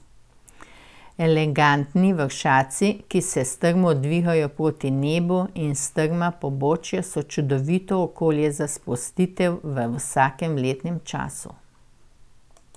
Elegantni vršaci, ki se strmo dvigajo proti nebu, in strma pobočja so čudovito okolje za sprostitev v vsakem letnem času.